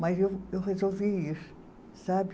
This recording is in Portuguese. Mas eu eu resolvi ir, sabe?